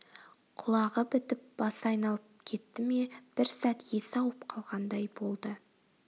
құлағы бітіп басы айналып кетті ме бір сәт есі ауып қалғандай болды